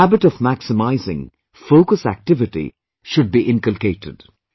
The habit of maximising focus activity should be inculcated